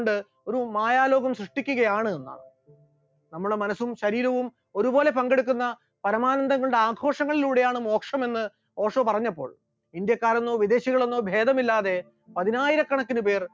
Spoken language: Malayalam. ഒരു മായാലോകം സൃഷ്ടിക്കുകയാണ് എന്നാണ്, നമ്മുടെ മനസ്സും ശരീരവും ഒരുപോലെ പങ്കെടുക്കുന്ന പരമാനന്ദങ്ങളുടെ ആഘോഷങ്ങളിലൂടെയാണ് മോക്ഷം എന്ന് ഓഷോ പറയുമ്പോൾ ഇന്ത്യക്കാരന്‍ എന്നൊ വിദേശികളെന്നോ ഭേദമില്ലാതെ പതിനായിരക്കണക്കിന് പേർ